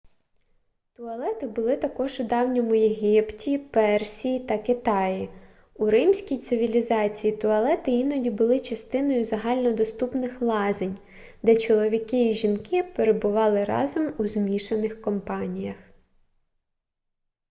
туалети були також у давньому єгипті персії та китаї у римській цивілізації туалети іноді були частиною загальнодоступних лазень де чоловіки і жінки перебували разом у змішаних компаніях